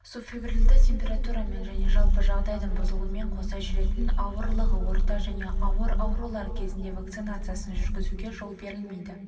субфебрильді температурамен және жалпы жағдайдың бұзылуымен қоса жүретін ауырлығы орта және ауыр аурулар кезінде вакцинациясын жүргізуге жол берілмейді